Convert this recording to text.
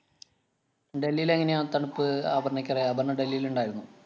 ഡെല്ലീലെങ്ങനെയാ തണുപ്പ് അപര്‍ണ്ണയ്ക്കറിയാ. അപര്‍ണ്ണ ഡൽഹിലുണ്ടായിരുന്നോ?